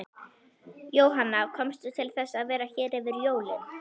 Jóhanna: Komstu til þess að vera hér yfir jólin?